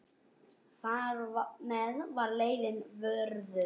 Þar með var leiðin vörðuð.